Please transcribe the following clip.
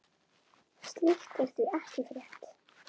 Slíkt er því ekki frétt.